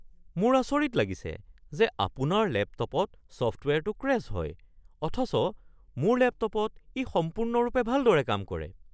মোৰ আচৰিত লাগিছে যে আপোনাৰ লেপটপত ছফ্টৱেৰটো ক্ৰেশ্ব হয় অথচ মোৰ লেপটপত ই সম্পূৰ্ণৰূপে ভালদৰে কাম কৰে।